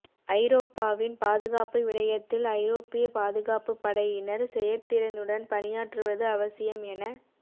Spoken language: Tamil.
ஐரோப்பாவின் பாதுகாப்பு விடயத்தில் ஐரோப்பிய பாதுகாப்பு படையினர் செயற்திறனுடன் பணியாற்றுவது அவசியம் என